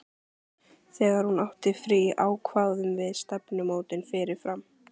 Þegar hún átti frí ákváðum við stefnumótin fyrirfram.